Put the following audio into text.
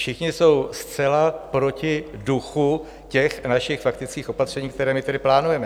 Všichni jsou zcela proti duchu těch našich faktických opatření, která my tady plánujeme.